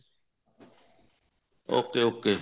ok ok